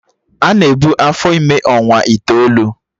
Ana ebu afọ ime ọnwa itoolu